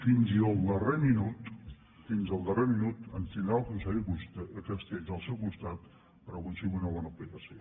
fins al darrer minut fins al darrer minut ens tindrà el conseller castells al seu costat per aconseguir una bona aplicació